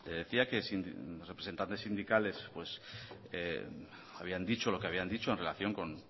decía que los representantes sindicales habían dicho lo que habían dicho en relación con